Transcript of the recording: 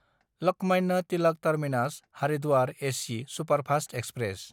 Lokmanya Tilak टार्मिनास–हारिद्वार AC superfast express